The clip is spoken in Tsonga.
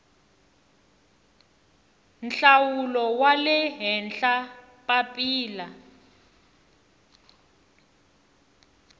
nhlawulo wa le henhla papila